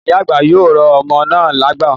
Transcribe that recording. Ìyá àgbà yóò rọ ọmọ náà lágbo